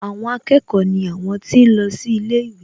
Àwọn akẹ́kọ̀ọ́ ni àwọn tí ń lọ sí ilé ìwé